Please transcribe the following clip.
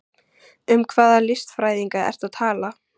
Um hvaða listfræðinga ertu að tala?